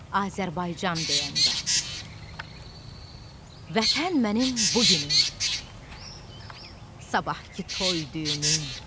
Azərbaycan deyəndə, Vətən mənim bu günüm, sabahkı toy-düyünüm.